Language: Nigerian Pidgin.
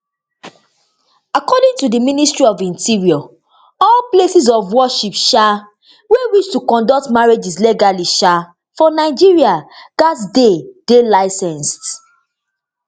according to di ministry of interior all places of worship um wey wish to conduct marriages legally um for nigeria gatz dey dey licensed